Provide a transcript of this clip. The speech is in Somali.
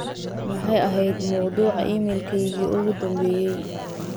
maxay ahayd mawduuca iimaylkeygii u dambeeyay